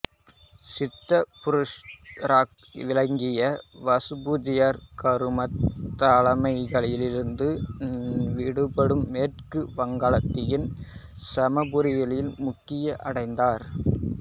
சித்த புருஷராக விளங்கிய வசுபூஜ்ஜியர் கருமத் தளைகளைகளிலிருந்து விடுபட்டு மேற்கு வங்காளத்தின் சம்பாபுரியில் முக்தி அடைந்தார்